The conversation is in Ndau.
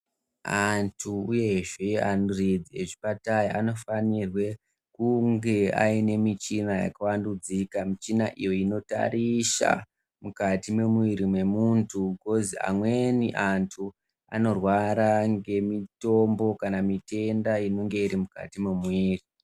Antu uyezve aridzi ezvipatara anofanirwe kunge aine michini yakawandudzika michina iyi inotorisa mukati mwemuwiri mwemuntu bhikozi amweni antu Anorwara ngemitombo kana mitenda inenga iri mukati mwemiri.